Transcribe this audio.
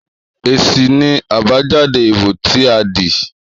Èsì ni àbájáde ìbò tí a dì í